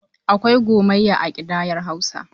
Akwai gomiyya a ƙidayar Hausa.